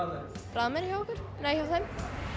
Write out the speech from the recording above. bragðmeiri hjá okkur nei hjá þeim